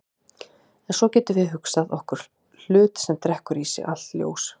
En svo getum við hugsað okkur hlut sem drekkur í sig allt ljós.